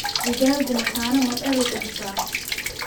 digaagu mataano ma dhalin kartaa?